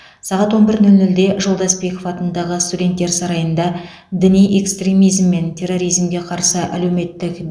сағат он бір нөл нөлде жолдасбеков атындағы студенттер сарайында діни экстремизм мен терроризмге қарсы әлеуметтік